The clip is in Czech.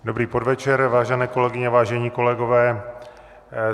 Dobrý podvečer, vážené kolegyně, vážení kolegové.